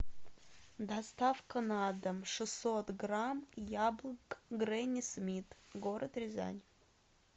доставка на дом шестьсот грамм яблок гренни смит город рязань